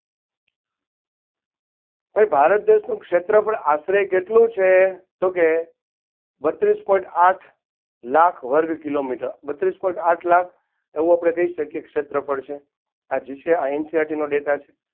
ભાઈ ભારત દેશનું ક્ષેત્રફળ આશરે કેટલું છે? તો કે બત્રીસ point આઠ લાખ વર્ગ કિલોમીટર બત્રીસ point આઠ લાખ એવું આપણે કહી શકીએ કે ક્ષેત્રફળ છે આ જે છે NCERT નો Data છે.